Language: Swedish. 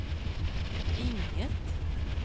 inget